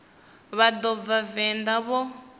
vha no bva venḓa vho